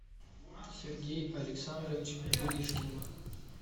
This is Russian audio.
сергей александрович гришкин